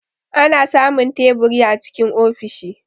Ana samun teburi a cikin ofishi.